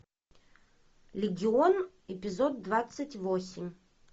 легион эпизод двадцать восемь